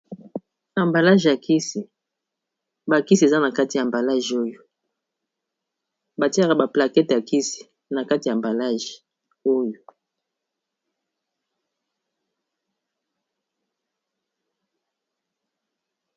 Ambalage ya kisi bakisi eza na kati ya mbalage oyo batiaka baplakete ya kisi na kati ya mbalage oyo.